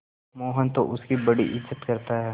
मोहन तो उसकी बड़ी इज्जत करता है